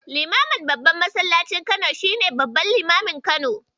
Limamin Babban masallacin Kano shi ne babban limamin Kano.